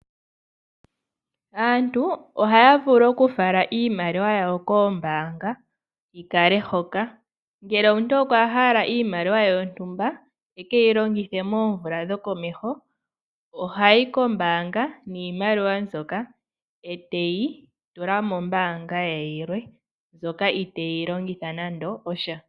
Aantu ohaya vulu okufala iimaliwa yawo koombaanga yi kale hoka. Ngele omuntu okwa hala iimaliwa ye yontumba e ke yi longithe moomvula dhokomeho, oha yi kombaanga niimaliwa mbyoka, e te yi tula mombaanga ye yilwe mbyoka itee yi longitha nando osha.